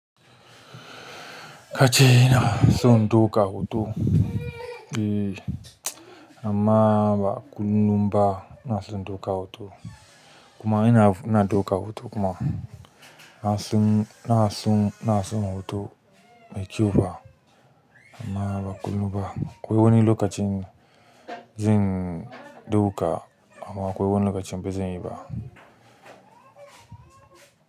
Inason ɗaukan hoto amma ba kullum kuma ina ɗaukan hoto inason hoto mai kyau fa. Amma ba kullum ba. Akwai wani lokaci zan ɗauka amman wani lokaci ba zanyi ba.